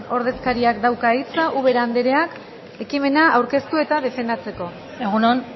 ordezkariak dauka hitza uberak andereak ekimena aurkeztu eta defendatzeko egun on